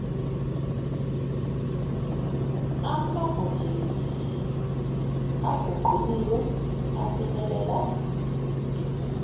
amabhajethi aguquliwe afinyelela